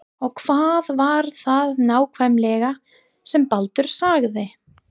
Og hvað var það nákvæmlega sem Baldur sagði?